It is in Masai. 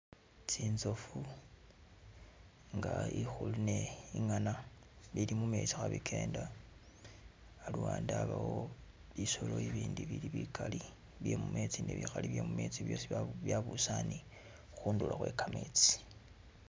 Tsinzofu nga ikhulu ni inyana bili mumezi khe bigenda haluwande habawo bisolo bibindi bili bigali bye mumezi ni bikhali bye mumetsi byosi byabusane khundulo khwegametsi.